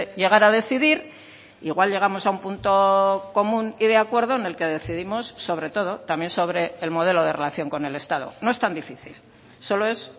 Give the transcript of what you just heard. llegar a decidir igual llegamos a un punto común y de acuerdo en el que decidimos sobre todo también sobre el modelo de relación con el estado no es tan difícil solo es